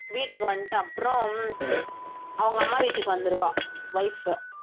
வீட்டுக்கு வந்துட்டு அப்புறம் அவங்க அம்மா வீட்டுக்கு வந்துருவா wife